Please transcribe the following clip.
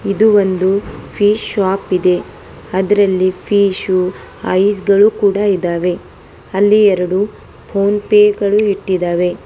ಇದು ಒಂದು fish shop ಇದೆ ಅದ್ರಲ್ಲಿ ಫಿಶ್ ಐಸ್ಗಳು ಕೂಡ ಇದಾವೆ ಅಲ್ಲಿ ಎರಡು ಫೋನ್ ಪೇ ಗಳು ಇಟ್ಟಿದವೆ.